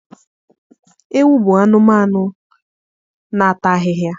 Ewu bụ anụmanụ na-ata ahịhịa.